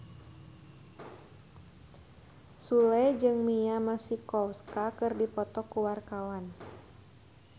Sule jeung Mia Masikowska keur dipoto ku wartawan